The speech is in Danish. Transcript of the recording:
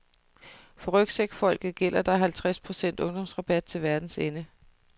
For rygsækfolket gælder der halvtreds procent ungdomsrabat til verdens ende.